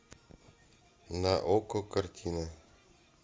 на окко картины